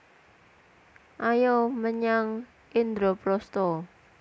Ayo menyang Indraprasta